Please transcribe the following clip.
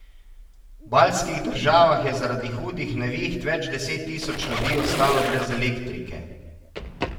V baltskih državah je zaradi hudih neviht več deset tisoč ljudi ostalo brez elektrike.